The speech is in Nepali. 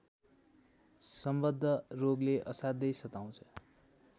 सम्बद्ध रोगले असाध्यै सताउँछ